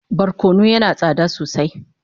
Barkono yana tsada sosai